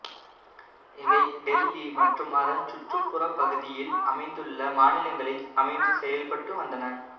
இவை டெல்லி மற்றும் அதன் சுற்றுப்புறப் பகுதியில் அமைந்துள்ள மாநிலங்களில் அமைந்து செயல்பட்டு வந்தன